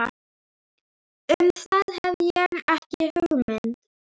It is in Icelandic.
Um það hef ég ekki hugmynd.